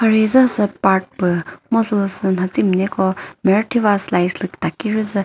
hi tazüsa sü park püh mu sülüsü natsimineko mürüthiva slides lü takiri zü.